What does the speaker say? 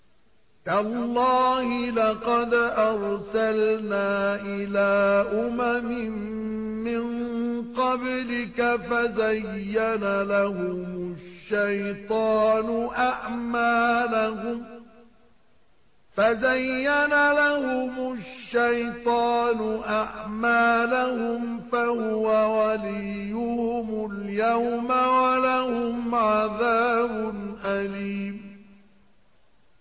تَاللَّهِ لَقَدْ أَرْسَلْنَا إِلَىٰ أُمَمٍ مِّن قَبْلِكَ فَزَيَّنَ لَهُمُ الشَّيْطَانُ أَعْمَالَهُمْ فَهُوَ وَلِيُّهُمُ الْيَوْمَ وَلَهُمْ عَذَابٌ أَلِيمٌ